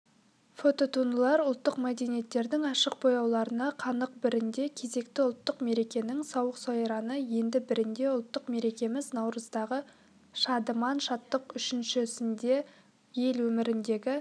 фототуындылар ұлттық мәдениеттердің ашық бояуларына қанық бірінде кезекті ұлттық мерекенің сауық-сайраны енді бірінде ұлттық мерекеміз наурыздағы шадыман шаттық үшіншісінде ел өміріндегі